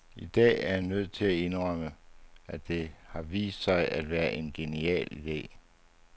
I dag er jeg nødt til at indrømme, at det har vist sig at være en genial ide.